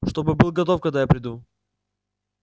чтобы был готов когда я приду